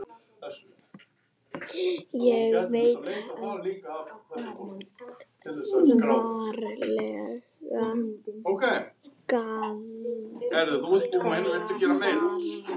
Ég veit það varla, Garðar.